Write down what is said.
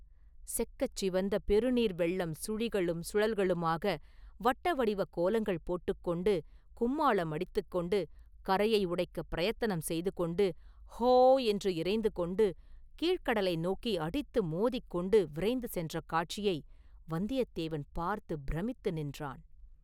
செக்கச் சிவந்த பெரு நீர் வெள்ளம் சுழிகளும் சுழல்களுமாக, வட்ட வடிவக் கோலங்கள் போட்டுக் கொண்டு, கொம்மாளம் அடித்துக் கொண்டு, கரையை உடைக்கப் பிரயத்தனம் செய்து கொண்டு, ‘ஹோ’ என்று இரைந்து கொண்டு, கீழ்க் கடலை நோக்கி அடித்து மோதிக் கொண்டு விரைந்து சென்ற காட்சியை வந்தியத்தேவன் பார்த்துப் பிரமித்து நின்றான்.